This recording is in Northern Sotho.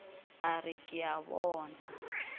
a re ke a bona